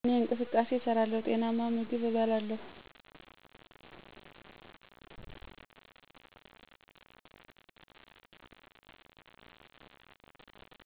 እኔ እንቅስቃሴ እሠራለሁ፣ ጤናማ ምግብም እበላለሁ።